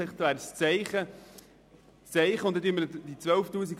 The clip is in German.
Ich habe im Antrag 12 000 Franken eingesetzt.